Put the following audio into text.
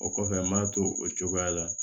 O kɔfɛ n m'a to o cogoya la